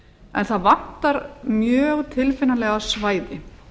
en það vantar mjög tilfinnanlega svæði